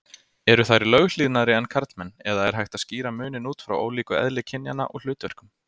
Eru þær löghlýðnari en karlmenn eða er hægt að skýra muninn út frá ólíku eðli kynjanna og hlutverkum?